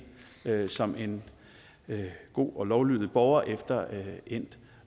som en god og lovlydig borger efter endt